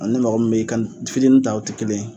A ni mɔgɔ min be kan fitini ta o ti kelen ye